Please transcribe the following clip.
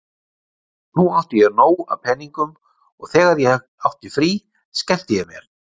Nú átti ég nóg af peningum og þegar ég átti frí skemmti ég mér.